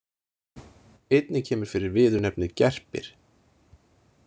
Einnig kemur fyrir viðurnefnið gerpir.